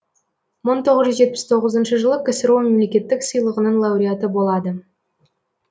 мың тоғыз жүз жетпіс тоғызыншы жылы ксро мемлекеттік сыйлығының лауреаты болады